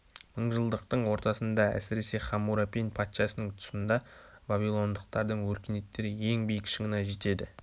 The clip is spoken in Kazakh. мыңжалдықтың ортасында әсіресе хаммурапин патшасының тұсында вавилоңдықтардың өркениеттері ең биік шыңына жетеді